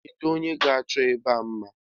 Kedu onye ga-achọ ebe a mma?